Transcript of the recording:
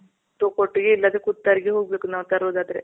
ತೋ ಕೊಟ್ಗಿ ಇಲ್ಲ ಅಂದ್ರೆ ಕುತ್ತರ್ಗಿ ಗ್ ಹೋಗ್ಬೇಕು ನಾವ್ ತರೋದ್ ಆದ್ರೆ.